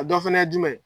A dɔ fana ye jumɛn ye